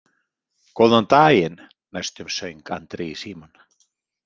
Góðan daginn, næstum söng Andri í símann.